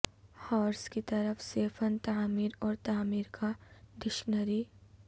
horse کی طرف سے فن تعمیر اور تعمیر کا ڈکشنری